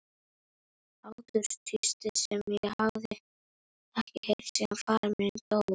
Hláturstístið sem ég hafði ekki heyrt síðan faðir minn dó.